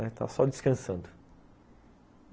Está só descansando.